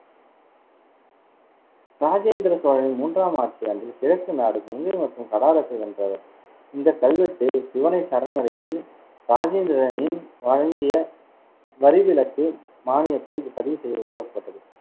ராஜேந்திர சோழனின் மூன்றாம் ஆட்சியாண்டில் கிழக்கு நாடு, கங்கை மற்றும் கடாரத்தை வென்றவர் இந்த கல்வெட்டு, சிவனை சரணடைந்து ராஜேந்திரனின் வழங்கிய வரிவிலக்கு மானியத்தை பதிவு செய்ய உருவாக்கப்பட்டது